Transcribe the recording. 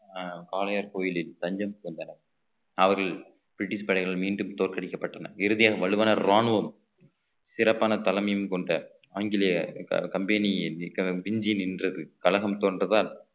அஹ் காளையர் கோயிலில் தஞ்சம் புகுந்தனர் அவர்கள் பிரிட்டிஷ் படைகள் மீண்டும் தோற்கடிக்கப்பட்டனர் இறுதியாக வல்லுனர் ராணுவம் சிறப்பான தலைமையும் கொண்ட ஆங்கிலேய com~ company மிஞ்சி நின்றது கலகம் தோன்றதால்